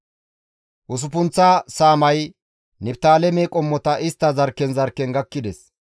Usuppunththa saamay Niftaaleme qommota istta zarkken zarkken gakkides.